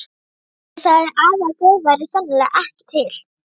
Svo sagði afi að Guð væri sennilega ekki til.